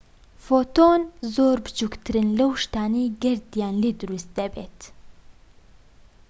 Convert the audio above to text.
فۆتۆن زۆر بچوکترن لەو شتانەی گەردیان لێ دروست دەبێت